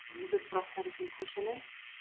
Rúður brotnar í þinghúsinu